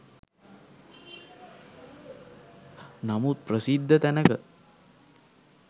නමුත් ප්‍රසිද්ධ තැනක